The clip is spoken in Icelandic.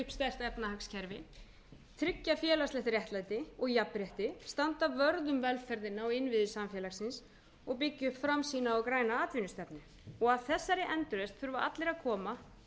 byggja upp sterkt efnahagskerfi tryggja félagslegt réttlæti og jafnrétti standa vörð um velferðina og innviði samfélagsins og byggja framtíðina á græna atvinnustefnu að þessari endurreisn þurfa allir að koma